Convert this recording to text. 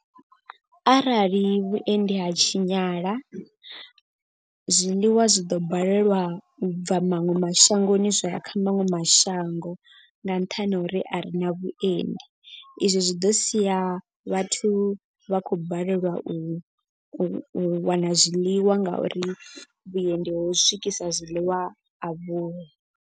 Arali vhuendi ha tshinyala zwiḽiwa zwi ḓo balelwa u bva maṅwe mashangoni zwa ya kha maṅwe mashango. Nga nṱhani ha uri a ri na vhuendi izwi zwi ḓo sia vhathu vha khou balelwa u u wana zwiḽiwa nga uri vhuendi ho swikisa zwiḽiwa a vhuho.